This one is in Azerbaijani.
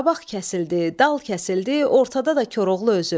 Qabaq kəsildi, dal kəsildi, ortada da Koroğlu özü.